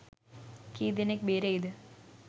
කීදෙනෙක් බේරෙයිද